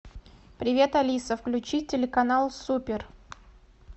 привет алиса включи телеканал супер